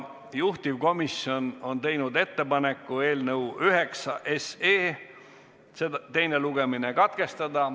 Juhtivkomisjon on teinud ettepaneku eelnõu nr 9 teine lugemine katkestada.